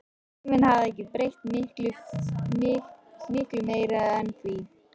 Tíminn hafði ekki breytt miklu meiru en því.